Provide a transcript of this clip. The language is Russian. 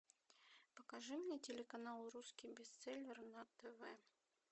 покажи мне телеканал русский бестселлер на тв